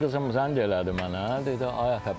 Qızım zəng elədi mənə, dedi ay ata,